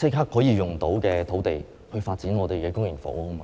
以立刻可以使用的土地來發展公營房屋。